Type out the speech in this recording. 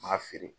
N m'a feere